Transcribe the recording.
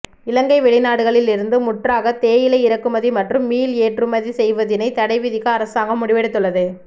இலங்கை வெளிநாடுகளில் இருந்து முற்றாக தேயிலை இறக்குமதி மற்றும் மீள் ஏற்றுமதி செய்வதினை தடைவிதிக்க அரசாங்கம் முடிவெடுத்துள்ளது